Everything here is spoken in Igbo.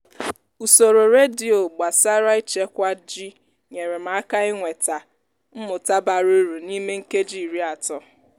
usoro redio gbasara ịchekwa ji nyere m aka inweta mmụta bara uru n'ime nkeji iri atọ